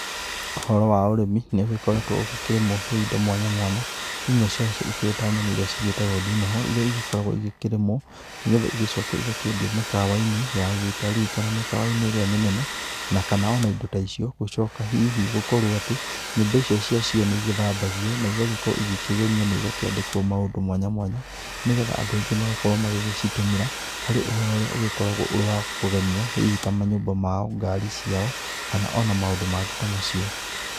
Ũhoro wa ũrĩmi nĩ ũgĩkoretwo ũgĩkĩrĩmwo rĩu indo mwanya mwanya, imwe cia cio ikĩrĩ ta nyamũ iria cigĩtagwo ndinoho iria igĩkoragwo ikĩrimwo, nĩgetha icoke igakĩendio mĩkawa-inĩ ya gĩtarii, kana mĩ kawa-inĩ ĩrĩa mĩnene. Na kana ona indo ta icio gũcoka hihi gũkorwo atĩ nyũmba icio cia cio nĩ igĩthambagio na igagĩkorwo igĩkĩgemio na igakĩandĩkwo maũndũ mwanya mwanya. Nĩgetha andũ aingĩ magagĩkorwo magĩcitũmĩra harĩ ũhoro ũria ũgĩkoragwo ũrĩ wa kũgemia hihi ta manyũmba mao ngari ciao, kana ona maũndũ mangĩ ta macio.